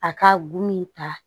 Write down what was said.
A ka gomin ta